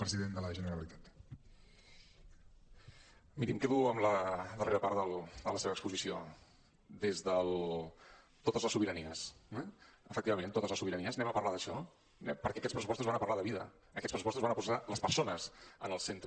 miri em quedo amb la darrera part de la seva exposició des del totes les sobiranies eh efectivament totes les sobiranies parlem d’això eh perquè aquests pressupostos van a parlar de vida aquests pressupostos van a posar les persones en el centre